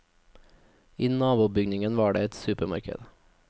I nabobygningen var det et supermarked.